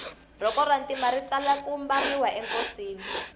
rhoko ra ntima ri tala ku mbariwa enkosini